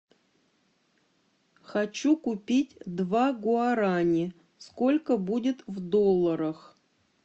хочу купить два гуарани сколько будет в долларах